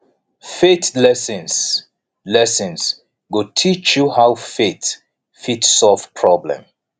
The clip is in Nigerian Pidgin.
faith lessons lessons go teach you how faith fit solve problem